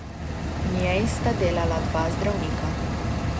V njej sta delala dva zdravnika.